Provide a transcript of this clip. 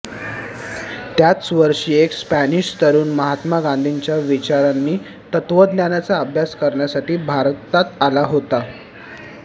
त्याच वर्षी एक स्पॅनिश तरुण महात्मा गांधींच्या विचार नि तत्त्वज्ञानाचा अभ्यास करण्यासाठी भारतात आला होता